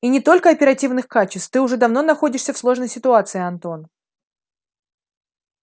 и не только оперативных качеств ты уже давно находишься в сложной ситуации антон